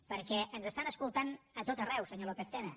perquè ens estan escoltant a tot arreu senyor lópez tena